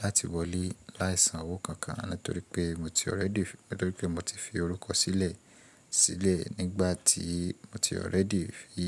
láti wọlé láìsan owó kankan nítorí pé mo ti already fi, nítorí pé mo ti fi orúkọ sílẹ̀ sílẹ̀ nígbà tí mo ti ọ̀rẹ́dì fi.